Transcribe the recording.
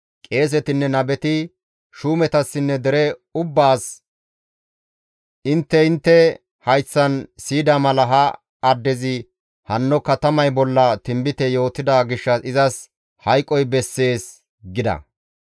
Qeesetinne nabeti shuumetassinne dere ubbaas, «Intte intte hayththan siyida mala ha addezi hanno katamay bolla tinbite yootida gishshas izas hayqoy bessees!» gida.